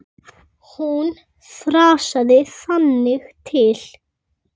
Hún þrasaði þangað til.